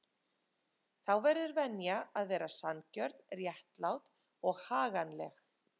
Þá verður venja að vera sanngjörn, réttlát og haganleg.